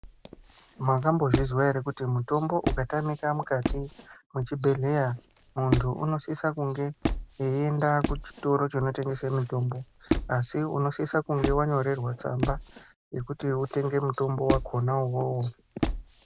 Makambozvizwa ere kuti mutombo ukatamika mukati mwechibhehleya muntu unosisa kunge eienda kuchitoro chinotengeswe mitombo asi unosisa kunge wanyorerwa tsamba yekuti utenge mutombo wakona uwowo.